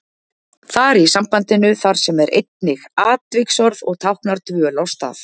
Þar í sambandinu þar sem er einnig atviksorð og táknar dvöl á stað.